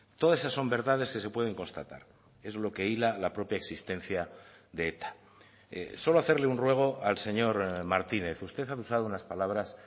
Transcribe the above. todas esas son verdades que se pueden constatar es lo que hila la propia existencia de eta solo hacerle un ruego al señor martínez usted ha usado unas palabras